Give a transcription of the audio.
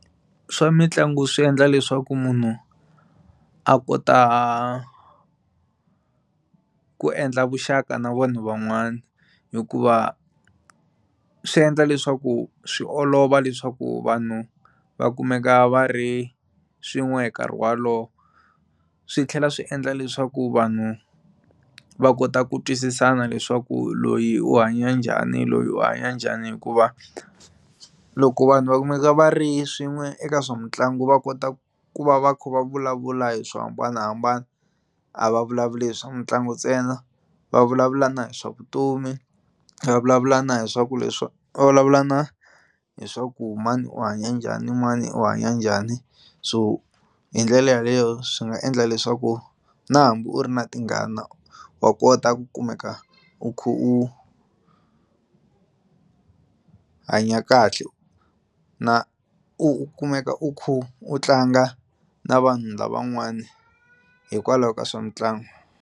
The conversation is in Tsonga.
Swa mitlangu swi endla leswaku munhu a kota ku endla vuxaka na vona van'wana hikuva swi endla leswaku swi olova leswaku vanhu va kumeka va ri swin'we hi nkarhi wolowo swi tlhela swi endla leswaku vanhu va kota ku twisisana leswaku loyi u hanya njhani loyi u hanya njhani hikuva loko vanhu va kumeka va ri swin'we eka swa mitlangu va kota ku va va kha va vulavula hi swo hambanahambana a va vulavuli hi swa mitlangu ntsena va vulavula na hi swa vutomi va vulavula na hi swa ku va vulavula na hi swa ku mani u hanya njhani mani u hanya njhani so hi ndlela yaleyo swi nga endla leswaku na hambi u ri na tingana wa kota ku kumeka u kha u hanya kahle na u kumeka u kha u tlanga na vanhu lavan'wani hikwalaho ka swa mitlangu.